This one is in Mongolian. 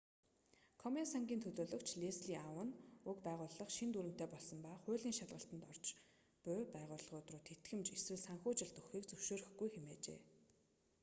комен сангийн төлөөлөгч лесли аун уг байгууллага шинэ дүрэмтэй болсон ба хуулийн шалгалтад орж уй байгууллагууд руу тэтгэмж эсвэл санхүүжилт өгөхийг зөвшөөрөхгүй хэмээжээ